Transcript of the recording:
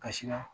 Kasira